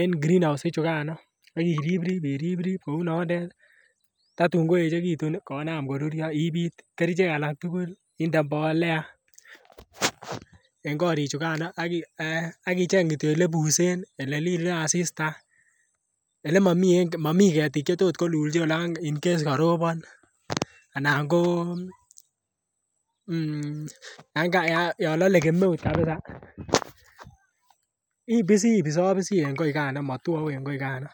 en greenhouse chugano ak iriprip iriprip kouu nonden tatun ko echegitun konam koruryo ipit kerichek alak tugul inde mbolea en korichugano ak icheng kityo ele busen ii ele lile asista ole momii ketik che kotot kolul chi Incase korobon ana ko um yon lole kemeut kabisa ibisi ibiso bisi en koii Kano motwouu en koii Kano